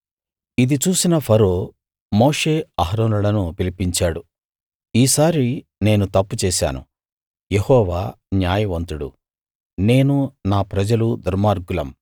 ఇది చూసిన ఫరో మోషే అహరోనులను పిలిపించాడు ఈసారి నేను తప్పు చేశాను యెహోవా న్యాయవంతుడు నేనూ నా ప్రజలూ దుర్మార్గులం